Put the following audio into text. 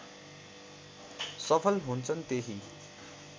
सफल हुन्छन् त्यही